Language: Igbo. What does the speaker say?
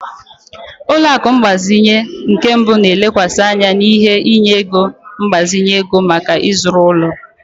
Ụlọ akụ mgbazinye nke mbụ na-elekwasị anya n'inye ego mgbazinye ego maka ịzụrụ ụlọ.